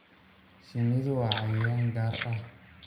Shinnidu waa cayayaan gaar ah.